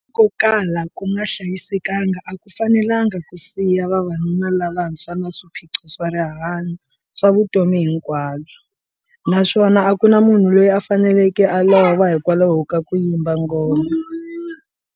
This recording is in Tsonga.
Ko kala ku nga hlayisekanga a ku fanelanga ku siya vavanuna lavantshwa na swiphiqo swa rihanyu swa vutomi hinkwabyo, naswona a ku na munhu loyi a faneleke a lova hikwalaho ka ku yimba ngoma.